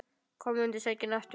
Kom undir sængina aftur.